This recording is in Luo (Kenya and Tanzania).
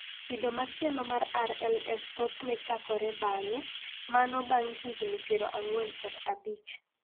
Kido machielo mar RLS thothne chakore bang�e (bang� higni 45).